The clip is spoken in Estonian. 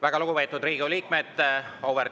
Väga lugupeetud Riigikogu liikmed!